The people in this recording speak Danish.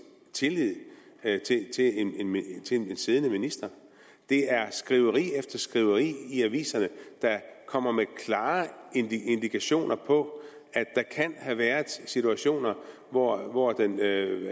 tillid til en siddende ministeren der er skriveri efter skriveri i aviserne der kommer med klare indikationer på at der kan have været situationer hvor hvor erhvervs